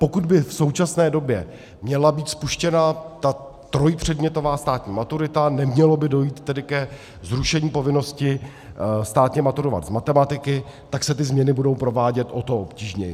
Pokud by v současné době měla být spuštěna ta trojpředmětová státní maturita, nemělo by dojít tedy ke zrušení povinnosti státně maturovat z matematiky, tak se ty změny budou provádět o to obtížněji.